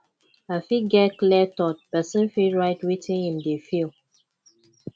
to fit get clear thought person fit write wetin im dey feel